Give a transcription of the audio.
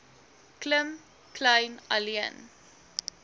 klim kleyn alleen